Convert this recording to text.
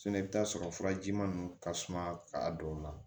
i bɛ t'a sɔrɔ furaji ma nun ka suma a dɔw la